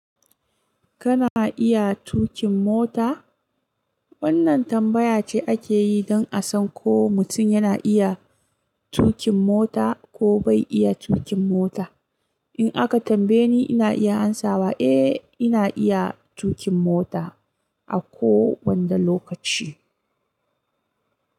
Kana iya tuƙin mota? Wannan tambaya ce ake yi don a san ko mutum yana iya tuƙin mota ko bai iya tuƙin mota. In aka tambaye ni, ina iya amsawa, "Eh, ina iya tuƙin mota a kowanne lokaci."